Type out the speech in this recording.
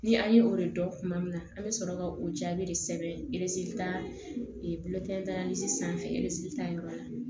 Ni an ye o de dɔn tuma min na an bɛ sɔrɔ ka o jaabi de sɛbɛn bulɔtan sanfɛ tayɔrɔ la